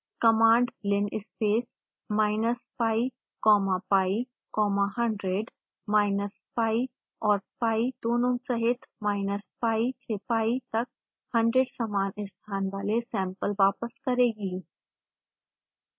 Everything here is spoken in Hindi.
command linspaceminus pi comma pi comma 100 minus pi और pi दोनों सहित pi से pi तक 100 समान स्थान वाले सैंपल वापस करेगी